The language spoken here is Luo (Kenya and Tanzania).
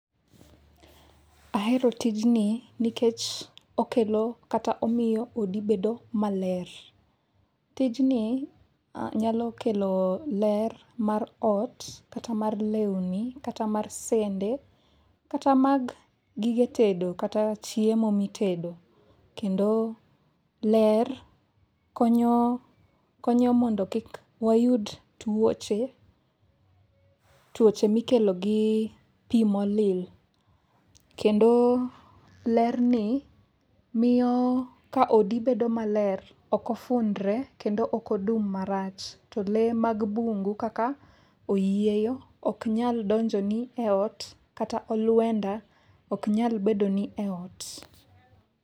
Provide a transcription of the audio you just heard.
Ahero tijni nikech okelo kata omiyo odi bedo maler. Tijni nyalo kelo ler mar ot kata mar lewni kata mar sende kata mag gige tedo kata chiemo mitedo, kendo ler konyo mondo kik wayud tuoche mikelo gi pi molil ,kendo lerni miyo ka odi bedo maler, ok ofundre, kendo ok odum marach. To lee mag bungu kaka oyieyo ok nyal donjo ni eot, kata olwenda ok nyal bedoni e ot.